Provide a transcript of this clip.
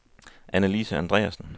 Annelise Andreassen